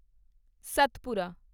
Satpura